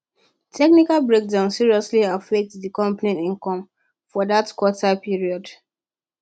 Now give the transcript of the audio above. technical breakdowns seriously affect di company income for that quarter period